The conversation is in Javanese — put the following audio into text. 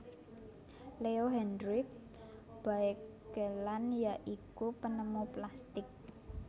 Leo Hendrik Baekeland ya iku penemu plastik